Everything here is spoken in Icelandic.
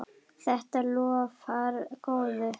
Þetta lofar góðu.